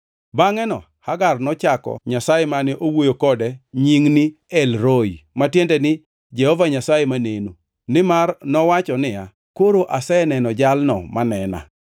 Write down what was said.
Bangʼeno Hagar nochako Nyasaye mane osewuoyo kode nying ni El-roi (ma tiende ni Jehova Nyasaye Maneno); nimar nowacho niya, “Koro aseneno Jalno manena.”